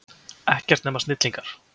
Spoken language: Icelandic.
Ekkert nema snillingar.